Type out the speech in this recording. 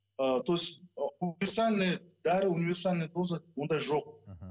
ыыы то есть универсальный дәрі универсальная доза ондай жоқ мхм